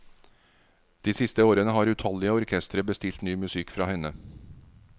De siste årene har utallige orkestre bestilt ny musikk fra henne.